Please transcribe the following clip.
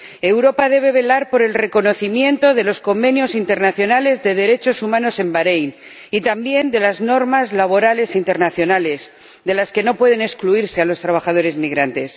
Europa debe velar por el reconocimiento de los convenios internacionales de derechos humanos en Baréin y, también, de las normas laborales internacionales, de las que no puede excluirse a los trabajadores migrantes.